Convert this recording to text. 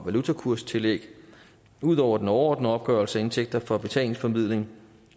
valutakurstillæg ud over den overordnede opgørelse af indtægter fra betalingsformidling